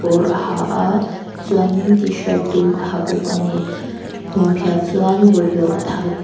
a ha a chuanin tshirt dum a ha bawk a ni hmunphiah chuan bawlhhlawh a thai khawm--